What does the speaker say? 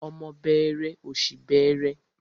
Ọmọ bẹẹrẹ, ọ̀ṣì bẹẹrẹ.